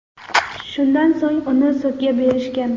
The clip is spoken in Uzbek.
Shundan so‘ng uni sudga berishgan.